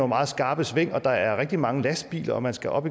meget skarpe sving der er rigtig mange lastbiler og man skal op